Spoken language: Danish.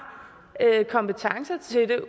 kompetencerne til det